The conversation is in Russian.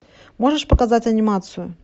можешь показать анимацию